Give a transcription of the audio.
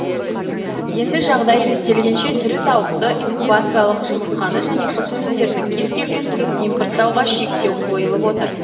енді жағдай реттелгенше тірі тауықты инкубациялық жұмыртқаны және құс өнімдерінің кез келген түрін импорттауға шектеу қойылып отыр